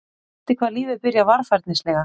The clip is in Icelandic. Skrýtið hvað lífið byrjar varfærnislega.